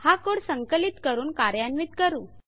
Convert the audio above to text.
हा कोड संकलित करून कार्यान्वित करू